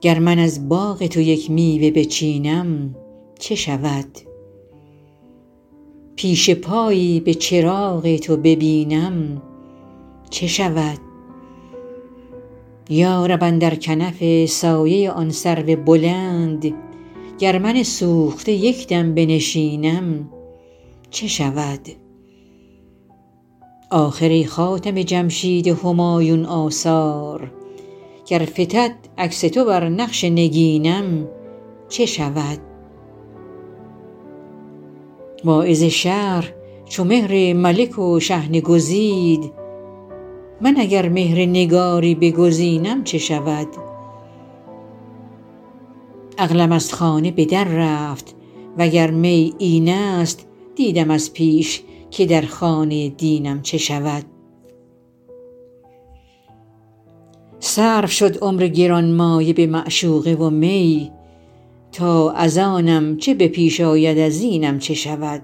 گر من از باغ تو یک میوه بچینم چه شود پیش پایی به چراغ تو ببینم چه شود یا رب اندر کنف سایه آن سرو بلند گر من سوخته یک دم بنشینم چه شود آخر ای خاتم جمشید همایون آثار گر فتد عکس تو بر نقش نگینم چه شود واعظ شهر چو مهر ملک و شحنه گزید من اگر مهر نگاری بگزینم چه شود عقلم از خانه به در رفت وگر می این است دیدم از پیش که در خانه دینم چه شود صرف شد عمر گرانمایه به معشوقه و می تا از آنم چه به پیش آید از اینم چه شود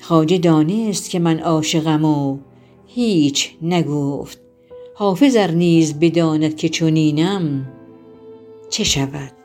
خواجه دانست که من عاشقم و هیچ نگفت حافظ ار نیز بداند که چنینم چه شود